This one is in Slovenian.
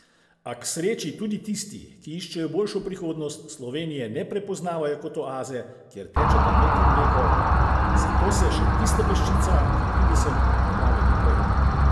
A k sreči tudi tisti, ki iščejo boljšo prihodnost, Slovenije ne prepoznavajo kot oaze, kjer tečeta med in mleko, zato se še tista peščica, ki pride sem, odpravi naprej.